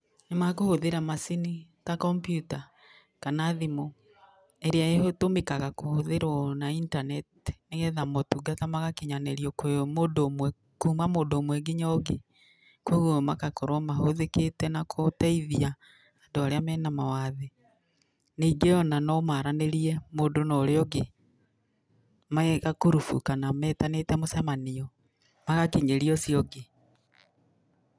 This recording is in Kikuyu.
Nĩ makũhũthĩra macini ta kompyuta kana thimũ ĩrĩa ĩtũmĩkaga kũhũthĩrwo na intaneti nĩgetha maũtũngata magakĩnyanĩrio kwĩ mũndũ ũmwe kũma mũndũ ũmwe nginya ũngĩ. Kogũo magakorwo mahũthĩkĩte na gũteithia andũ arĩa mena mawathe, ningĩ nomaranĩrie mũndũ na ũrĩa ũngĩ me gakurubu kana metanĩte mũcamanio magakinyĩria ũcio ũngĩ